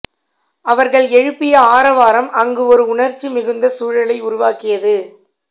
அவர்கள் எழுப்பிய ஆரவாரம் அங்கு ஒரு உணர்ச்சி மிகுந்த சூழலை உருவாக்கியது